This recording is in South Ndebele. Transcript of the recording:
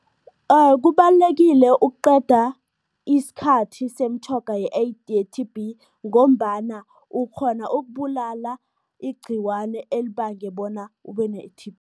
Kubalulekile ukuqeda isikhathi semitjhoga ye-T_B ngombana ukghona ukubulala igciwane elibange bona ube ne-T_B